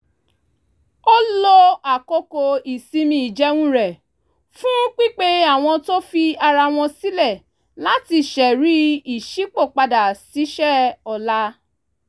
ó lo àkókò ìsinmi ìjẹun rẹ̀ fún pípe àwọn tó fi ara wọn sílẹ̀ láti ṣẹ̀rí ìṣípòpadà ṣíṣe ọ̀la